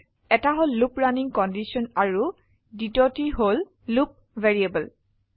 এটা হল loop running condition আৰু দ্বিতীয়টি হল লুপ ভেৰিয়েবল